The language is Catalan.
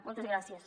moltes gràcies